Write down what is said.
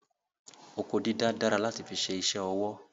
Oko dídá dára láti fi ṣe isẹ́ ọwọ́